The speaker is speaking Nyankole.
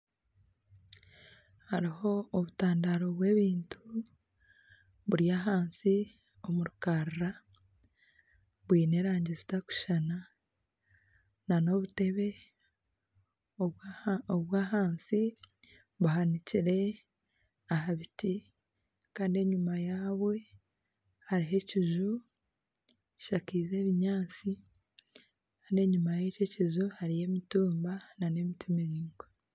Hariho obutandaaro bw'ebintu buri ahansi omu runyiriri bwine erangi zitakushushana n'obutebe obw'ahansi buhanikire aha biti kandi enyuma yabwo hariho ekinju kishakize ebinyaatsi kandi enyuma y'ekyo ekinju hariyo emitumba n'emiti miraingwa.